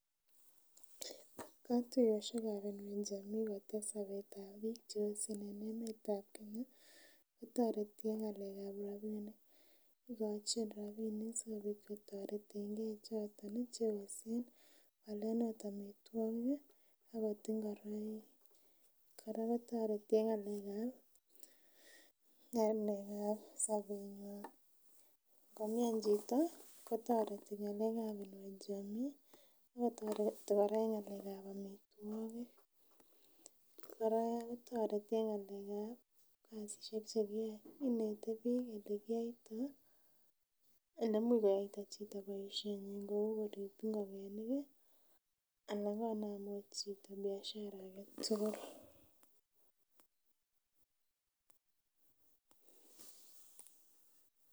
Kotuiyosiek ab Inua Jamii kotes sobetab biik cheosen en emetab Kenya kotoreti en ng'alek ab rapinik ikochin rapinik sikobit kotoretengee choton ih cheosen koalen ot amitwogik ih akot ngoroik. Kora kotoreti en ng'alek ab ng'alek ab sobetnywan ngomian chito kotoreti ng'alek ab Inua Jamii ak kotoreti kora en ng'alek ab amitwogik kora kotoreti en ng'alek ab kasisiek chekiyoe inete biik elekiyoitoo elemuch koyaita chito boisiet nyin kou korip ngokenik ih ana konam ot chito biashara aketugul.